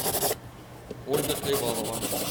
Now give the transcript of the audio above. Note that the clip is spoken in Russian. ольга клевалова